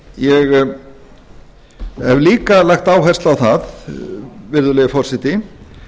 ég hef líka lagt áherslu hvað virðulegi forseti